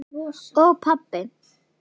Og pabba!